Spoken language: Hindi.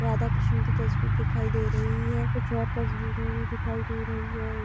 राधा कृष्ण की तस्वीर दिखाई दे रही है। कुछ और तस्वीरें भी दिखाई दे रही हैं। एक --